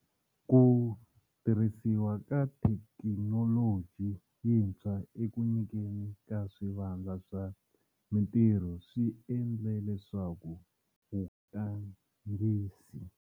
Ku tirhisiwa ka thekinoloji yintshwa eku nyikeni ka swivandla swa mitirho swi endle leswaku vugangisi.